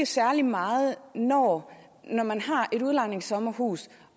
særlig meget når når man har et udlejningssommerhus